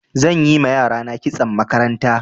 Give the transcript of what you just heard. Zan yi ma yarana kitson makaranta.